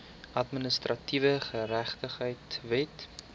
administratiewe geregtigheid wet